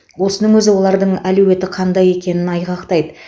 осының өзі олардың әлеуеті қандай екенін айғақтайды